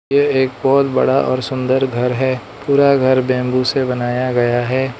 यह एक बहोत बड़ा और सुंदर घर है पूरा घर बैंबू से बनाया गया है।